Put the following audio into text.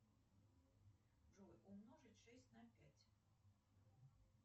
джой умножить шесть на пять